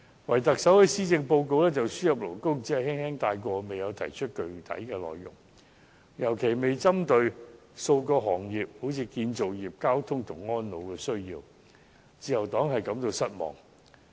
可是，特首在施政報告中，對輸入外勞問題只是輕輕帶過，未有提出具體內容，更沒有特別針對建造業、運輸業和安老服務等的需要，自由黨對此感到失望。